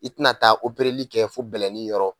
I tɛna taa li kɛ fo bɛlɛnni yɔrɔ